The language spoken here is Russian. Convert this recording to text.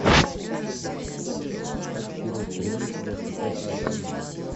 шаг вперед прилив двадцать пятая серия